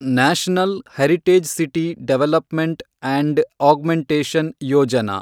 national heritage city development and augmentation Yojana